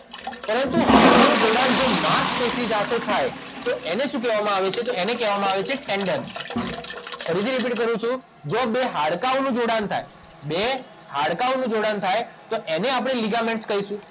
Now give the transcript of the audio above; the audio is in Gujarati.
પરંતુ હાડકાંનુ જોડાણ જો માંસપેશી સાથે થાય તો એને શું કહેવામાં આવે છે તો એને કહેવામાં આવે છે ટેન્ડન ફરીથી રીપીટ કરું છું જો બે હાડકાંઓનું જોડાણ થાય બે હાડકાંઓનું જોડાણ થાય તો એને આપણે લિગામેન્ટ્સ કહીશું